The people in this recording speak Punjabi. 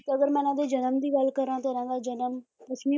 ਤੇ ਅਗਰ ਮੈਂ ਇਹਨਾਂ ਦੇ ਜਨਮ ਦੀ ਗੱਲ ਕਰਾਂ ਤਾਂ ਇਹਨਾਂ ਦਾ ਜਨਮ ਦੱਖਣੀ